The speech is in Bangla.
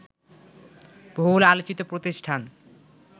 বহুল আলোচিত প্রতিষ্ঠান